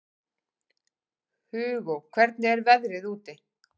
Hugó, hvernig er veðrið úti?